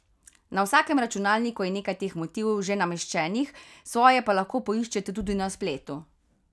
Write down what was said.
Na vsakem računalniku je nekaj teh motivov že nameščenih, svoje pa lahko poiščete tudi na spletu.